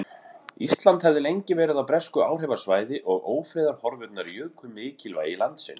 Ísland hafði lengi verið á bresku áhrifasvæði og ófriðarhorfurnar juku mikilvægi landsins.